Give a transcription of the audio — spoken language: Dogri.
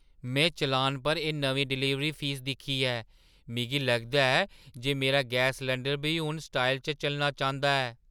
में चालान पर एह् नमीं डलीवरी फीस दिक्खी ऐ। मिगी लगदा ऐ जे मेरा गैस सलैंडर बी हून स्टाइल च चलना चांह्‌दा ऐ!